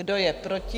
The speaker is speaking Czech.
Kdo je proti?